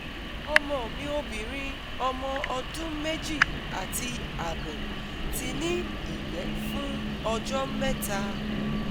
Ọmọ mi obinrin omo ọdún meji ati abo ti ní ìgbẹ́ fún ọjọ́ mẹ́ta